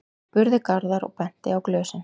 spurði Garðar og benti á glösin.